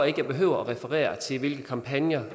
ikke jeg behøver at referere til hvilke kampagner